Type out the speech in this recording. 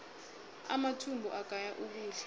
amathumbu agaya ukudla